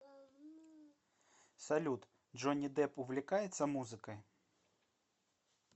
салют джонни депп увлекается музыкой